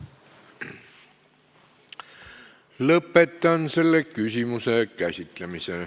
Lõpetan selle küsimuse käsitlemise.